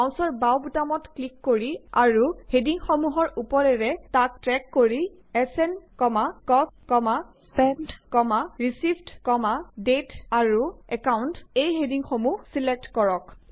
মাউচৰ বাওঁ বুতামটোত ক্লিক কৰি আৰু হেডিংসমূহৰ উপৰেৰে তাক ড্ৰেগ কৰি এছএন কষ্ট স্পেণ্ট ৰিচিভড দাঁতে আৰু একাউণ্ট এই হেডিংসমূহ ছিলেক্ট কৰক